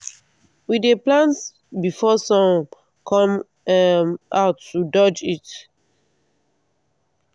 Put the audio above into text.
we dey plant before sun come um out to dodge heat.